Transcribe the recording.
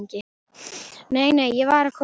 Nei, nei, ég var að koma.